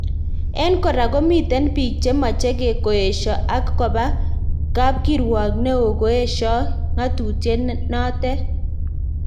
En kora komiten biik che mache koesio ak koba kapkirwok neo koesio ngatutiet natet